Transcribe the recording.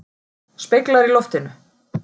Speglar í loftinu.